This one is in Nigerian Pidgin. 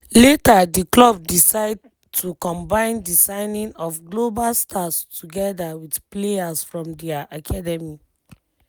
later di club decide to combine di signing of global stars togeda wit players from dia academy.